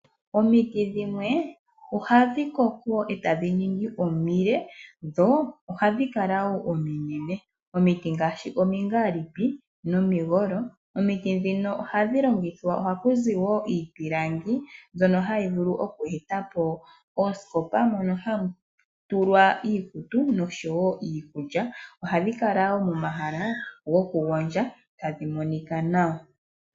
Omiti dhimwe ohadhi koko etadhi ningi omile, dho ohadhi kala woo ominene. Omiti ngaashi omingaalipi nomigolo, komiti dhino ohaku zi woo iipilangi, mbyono hayi vulu oku eta po oosikopa, mono hamu tulwa iikutu, oshowo iikulya, ohadhi kala woo momahala, gokugondja tadhi monika nawa.